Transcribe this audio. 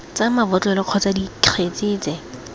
tsa mabotlolo kgotsa dikgetse tse